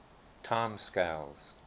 time scales